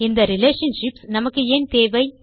இந்த ரிலேஷன்ஷிப்ஸ் நமக்கு ஏன் தேவை